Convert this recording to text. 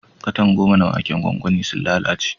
Katan goma na waken gwangwani sun lalace.